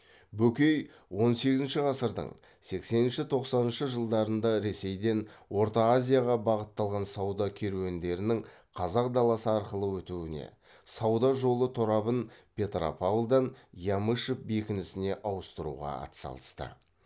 бөкей он сегізінші ғасырдың сексенінші тоқсаныншы жылдарында ресейден орта азияға бағытталған сауда керуендерінің қазақ даласы арқылы өтуіне сауда жолы торабын петропавлдан ямышев бекінісіне ауыстыруға атсалысты